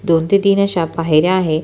दोन ते तीन अश्या पायऱ्या आहे.